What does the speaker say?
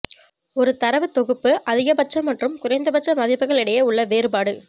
ஒரு தரவு தொகுப்பு அதிகபட்ச மற்றும் குறைந்தபட்ச மதிப்புகள் இடையே உள்ள வேறுபாடு